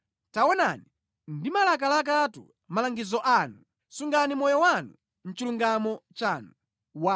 Taonani, ndimalakalakatu malangizo anu! Sungani moyo wanga mʼchilungamo chanu.